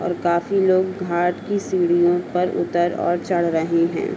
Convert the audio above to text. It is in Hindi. और काफी लोग घाट की सीढियों पर उतर और चढ़ रहे हैं।